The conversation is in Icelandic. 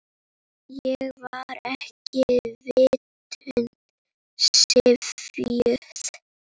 Ég var ekki vitund syfjuð.